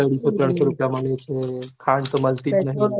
હાજર ત્રણસો રૂપિયા માંગું ખાંડ તો માલ્તીજ નથી